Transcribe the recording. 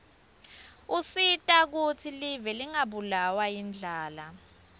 usita kutsi live lingabulawa yindlala